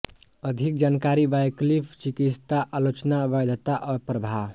अधिक जानकारी वैकल्पिक चिकित्सा आलोचना वैधता और प्रभाव